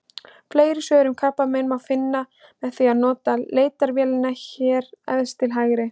Fleiri svör um krabbamein má finna með því að nota leitarvélina hér efst til hægri.